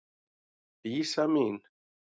Dísa mín.